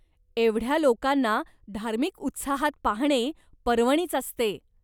एवढ्या लोकांना धार्मिक उत्साहात पाहणे पर्वणीच असते.